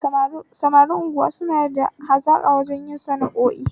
Samarin unguwa suna da hazaƙa wajen yin sana'o'in su